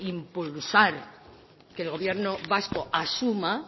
impulsar que el gobierno vasco asuma